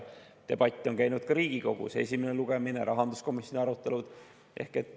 Debatt on käinud ka Riigikogus: esimene lugemine, rahanduskomisjoni arutelud.